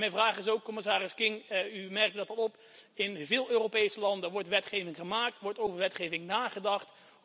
Mijn vraag is ook, commissaris King, u merkte dat al op in veel Europese landen wordt wetgeving gemaakt, wordt over wetgeving nagedacht.